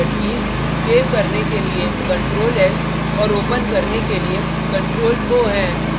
किसी भी program में सामान्य shortcut कीज़ सेव करने के लिए ctrl + s और ओपन करने के लिए ctrl + o हैं